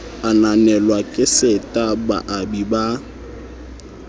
ananelwa ke seta baabi ba